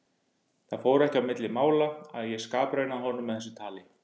Það fór ekki á milli mála að ég skapraunaði honum með þessu tali.